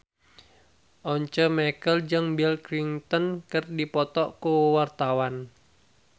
Once Mekel jeung Bill Clinton keur dipoto ku wartawan